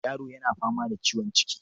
Yaro yana fama da ciwon ciki.